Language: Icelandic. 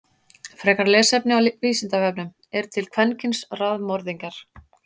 Frekara lesefni á Vísindavefnum: Eru til kvenkyns raðmorðingjar?